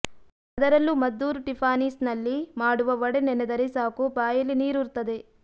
ಅದರಲ್ಲೂ ಮದ್ದೂರು ಟಿಫಾನಿಸ್ನಲ್ಲಿ ಮಾಡುವ ವಡೆ ನೆನೆದರೆ ಸಾಕು ಬಾಯಲ್ಲಿ ನೀರೂರುತ್ತದೆ